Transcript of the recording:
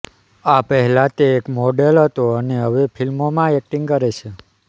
આ પહેલા તે એક મોડેલ હતો અને હવે ફિલ્મોમાં એક્ટિંગ કરે છે